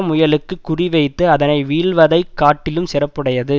முயலுக்குக் குறிவைத்து அதனை வீழ்த்துவதைக் காட்டிலும் சிறப்புடையது